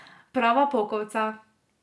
Prava pokovca.